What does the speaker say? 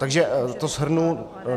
Takže to shrnu.